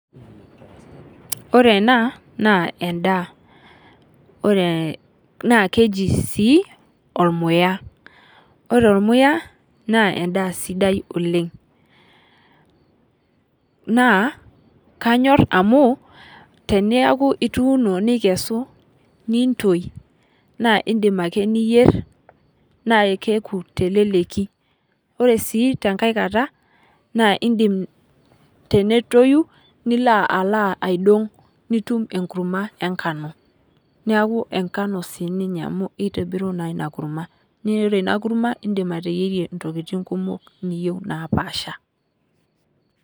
Ore enaa naa edaa. Oree, naa keji sii ormuya. Ore ormuya naa edaa sidai oleng'. Naa kanyor amuu tenayuku ituno nikesu nintoi naa idim ake niyer naa keeku teleleki. Ore sii tenkae kata naa idim tenetoyu nilo alo aidong' nitum enkurma enkano. Neeku enkano sii ninye kitobiru ina kurma. Naa iyiolo ina kurma idim ateyierie intokitin kumok naapaasha.